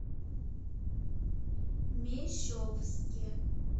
мещовске